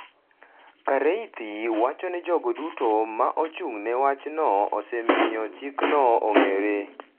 Kareithi wacho ni jogo duto ma ochung’ne wachno osemiyo chikno ong’ere